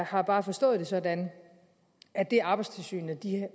har bare forstået det sådan at det arbejdstilsynet